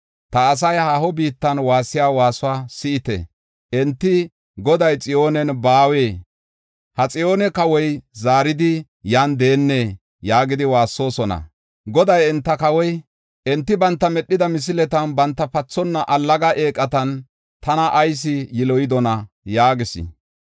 Ta asay haaho biittan waassiya waasuwa si7ite. Enti, “Goday Xiyoonen baawee? Ha Xiyoone Kawoy zaaridi yan deennee?” yaagidi waassoosona. Goday enta Kawoy, “Enti banta medhida misiletan, banta pathonna allaga eeqatan tana ayis yiloyidona?” yaagis.